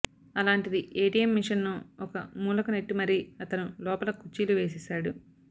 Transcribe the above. అలాంటిది ఏటీఎం మిషన్ను ఒక మూలకు నెట్టి మరీ అతను లోపల కుర్చీలు వేసేశాడు